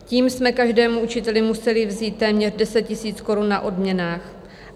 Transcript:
Tím jsme každému učiteli museli vzít téměř 10 000 korun na odměnách.